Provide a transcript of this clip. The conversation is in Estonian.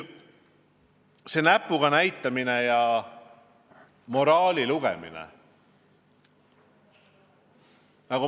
Nüüd, see näpuga näitamine ja moraali lugemine.